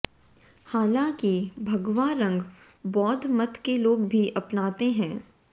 हालांकि भगवा रंग बौद्ध मत के लोग भी अपनाते हैं